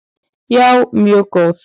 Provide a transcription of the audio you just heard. Já, mjög góð.